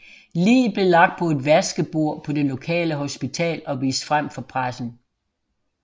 Liget blev lagt på et vaskebord på det lokale hospital og vist frem for pressen